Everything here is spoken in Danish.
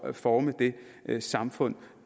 at forme det samfund